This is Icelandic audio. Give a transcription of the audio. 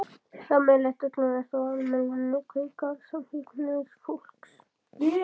Sameiginlegt öllum er þó almenn neikvæðni í garð samkynhneigðs fólks.